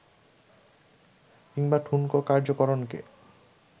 কিংবা ঠুনকো কার্যকারণকে